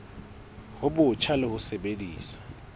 bo botjha le ho sebedisa